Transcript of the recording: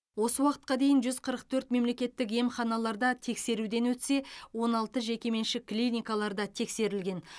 осы уақытқа дейін жүз қырық төрт мемлекеттік емханаларда тексеруден өтсе он алтыншы жекеменшік клиникаларда тексерілген